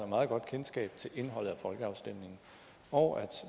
meget godt kendskab til indholdet af folkeafstemningen og